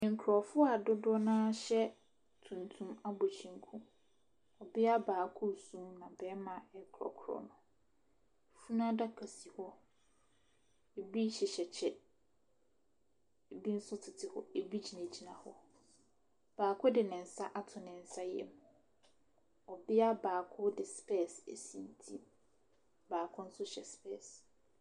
Nkorɔfoɔ a dodoɔ naa ɛhyɛ tuntum abɔ kyɛnku. Ɔbeaa baako su naa bɛɛma ɛkorɔkorɔ no. Funu adaka si hɔ. Ɛbi hyehyɛ kyɛ ,ɛbi nso tete hɔ, ɛbi gyina gyina hɔ. Baako de nsa ato ne nsa yɛm. Ɔbea baako de spɛs asi ne ti. Baako nso hyɛ spɛs.